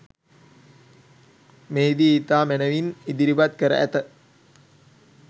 මෙහිදී ඉතා මැනවින් ඉදිරිපත් කර ඇත.